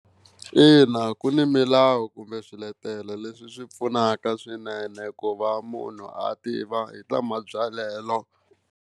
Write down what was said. Ina, ku ni milawu kumbe swiletelo leswi swi pfunaka swinene ku va munhu a tiva hi ta mabyalelo.